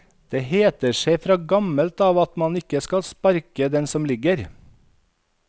Det heter seg fra gammelt av at man ikke skal sparke den som ligger.